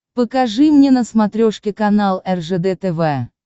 покажи мне на смотрешке канал ржд тв